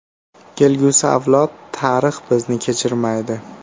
Kelgusi avlod, tarix bizni kechirmaydi.